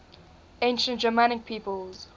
ancient germanic peoples